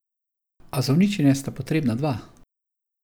A za uničenje sta potrebna dva.